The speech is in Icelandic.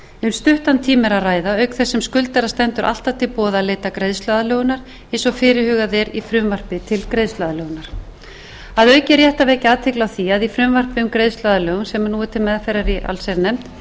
stuttan tíma er að ræða auk þess sem skuldara stendur alltaf til boða að leita greiðsluaðlögunar eins og fyrirhugað er í frumvarpi til greiðsluaðlögunar að auki er rétt að vekja athygli á því að í frumvarpi um greiðsluaðlögun sem nú er til meðferðar í allsherjarnefnd er